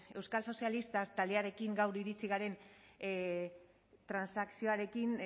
euskal sozialistak taldeekin gaur iritsi garen transakzioarekin